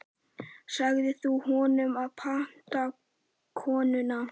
Sagðir þú honum að panta konuna?